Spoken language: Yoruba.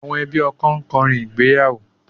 Àwọn ẹbí ọkọ ń kọrin ìgbéyàwó